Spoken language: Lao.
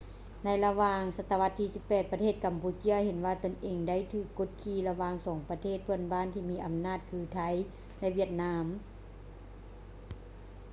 ໃນລະຫວ່າງສະຕະວັດທີ 18 ປະເທດກຳປູເຈຍເຫັນວ່າຕົນເອງໄດ້ຖືກກົດຂີ່ລະຫວ່າງສອງປະເທດເພື່ອນບ້ານທີ່ມີອຳນາດຄື ໄທ ແລະ ຫວຽດນາມ